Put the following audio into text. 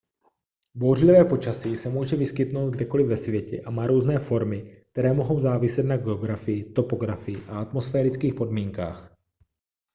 bouřlivé počasí se může vyskytnout kdekoli ve světě a má různé formy které mohou záviset na geografii topografii a atmosferických podmínkách